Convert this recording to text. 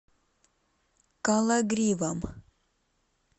кологривом